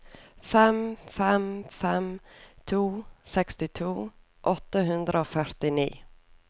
fem fem fem to sekstito åtte hundre og førtini